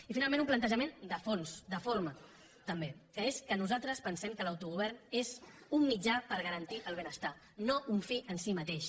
i finalment un plantejament de fons de forma també que és que nosaltres pensem que l’autogovern és un mitjà per garantir el benestar no un fi en si mateix